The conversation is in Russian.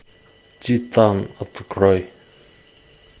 титан открой